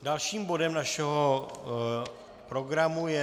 Dalším bodem našeho programu je